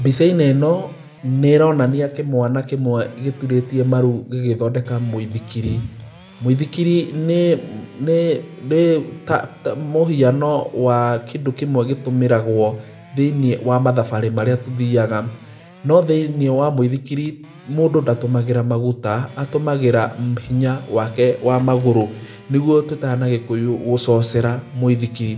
Mbica-inĩ ĩno nĩronania kĩmwana kĩmwe gĩturĩtie maru gĩgĩthondeka mũithikiri. Mũithikiri nĩ, nĩ, nĩ, ta, ta, mũhiano wa kĩndũ kĩmwe gĩtũmĩragwo thĩiniĩ wa mathabarĩ marĩa tũthiaga. No thĩiniĩ wa mũithikiri mũndũ ndatũmagĩra maguta, atũmagĩra hinya wake wa magũrũ nĩguo tũĩtaga na gĩkũyũ gũcocera mũithikiri.